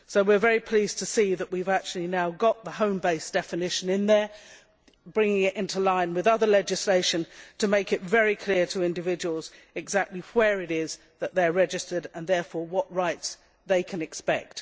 So we are very pleased to have got the home base' definition in there, bringing it into line with other legislation to make it very clear to individuals exactly where it is that they are registered and therefore what rights they can expect.